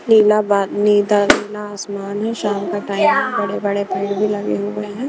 नीला बाद नीदा नीला आसमान है शाम का टाइम है बड़े बड़े पेड़ भी लगे हुए हैं।